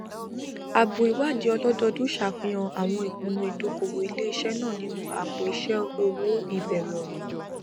àbọ ìwádìí ọlọdọòdún ṣàfihàn àwọn ìpinnu ìdókòwò iléisé náà nínú àpòiṣẹ owó ìbẹrẹ òwò